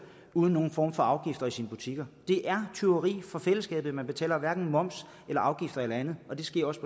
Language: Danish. uden nogen form for afgifter i sine butikker det er tyveri fra fællesskabet man betaler hverken moms afgifter eller andet og det sker også